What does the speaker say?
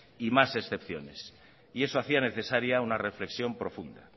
y más excepciones y eso hacía necesario una reflexión profunda